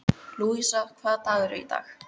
Lúísa, hvaða dagur er í dag?